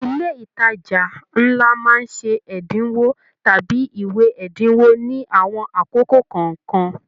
Ilé ìtàjà nlá máa ṣe ẹdinwo tàbí ìwé ẹdinwo ní àwọn àkókò kọọkan.